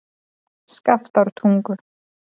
Skaftártungu